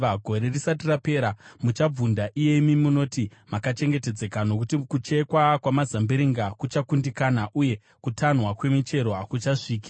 Gore risati rapera muchabvunda iyemi munoti makachengetedzeka; nokuti kuchekwa kwamazambiringa kuchakundikana, uye kutanhwa kwemichero hakuchasviki.